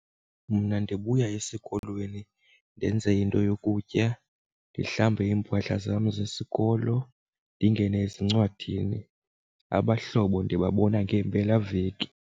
Mna ndibuya esikolweni ndenze into yokutya ndihlambe iimpahla zam zesikolo ndingene ezincwadini, abahlobo ndibabona ngempelaveki.